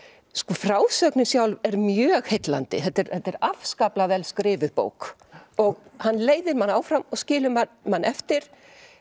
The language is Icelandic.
frásögnin sjálf er mjög heillandi þetta er þetta er afskaplega vel skrifuð bók bók hann leiðir mann áfram og skilur mann eftir